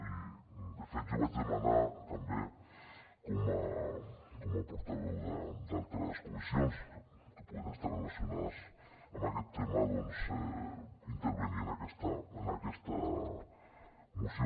i de fet jo vaig demanar també com a portaveu d’altres comissions que puguin estar relacionades amb aquest tema doncs intervenir en aquesta moció